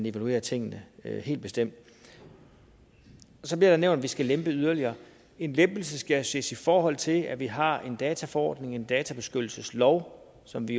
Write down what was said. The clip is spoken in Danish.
evaluerer tingene helt bestemt så bliver der nævnt at vi skal lempe yderligere en lempelse skal jo ses i forhold til at vi har en dataforordning en databeskyttelseslov som vi